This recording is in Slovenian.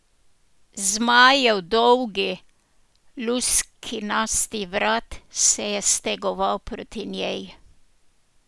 Zmajev dolgi luskinasti vrat se je stegoval proti njej.